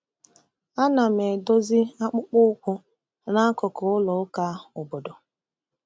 Ana m edozi akpụkpọ ụkwụ n'akụkụ ụlọ ụka obodo.